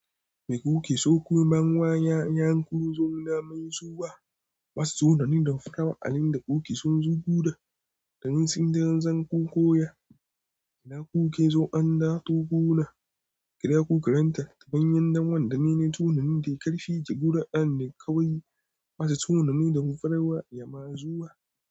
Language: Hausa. Mai ƙuke so kun man wa ƴaƴanku zun namayi zuwa? Wasse sunani da farawa a inda kuke son su guda da yin tsintan zanku koya? Ina kuke so an dawo gona? Kira ku karanta ta bayan damuwa da menene sunanin da ya karfi ke gudanar da kawai wasu sunami da farawa ya masu zuwa.